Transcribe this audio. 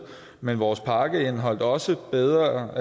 men vores pakke indeholdt også bedre